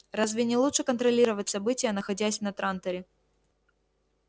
разве не лучше контролировать события находясь на транторе